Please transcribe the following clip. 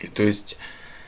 и то есть